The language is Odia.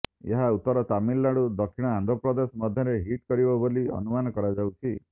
ଏହା ଉତ୍ତର ତାମିଲନାଡୁ ଦକ୍ଷିଣ ଆନ୍ଧ୍ର ପ୍ରଦେଶ ମଧ୍ୟରେ ହିଟ କରିବ ବୋଲି ଅନୁମାନ କରାଯାଉଛି